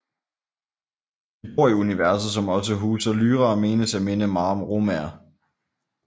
De bor i universet som også huser Lyra og menes at minde meget om romaer